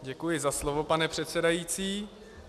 Děkuji za slovo, pane předsedající.